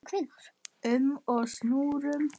um og snúrum.